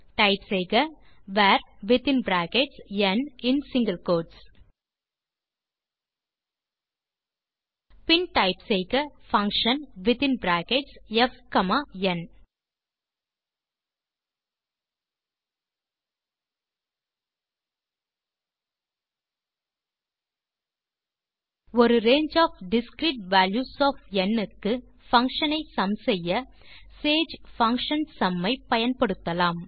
type செய்க var within brackets n in single quotes பின் type செய்க பங்ஷன் வித்தின் பிராக்கெட்ஸ் fந் ஒரு range of discrete values of n க்கு பங்ஷன் ஐ சும் செய்ய சேஜ் பங்ஷன் சும் ஐ பயன்படுத்தலாம்